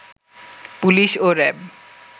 police ও RAB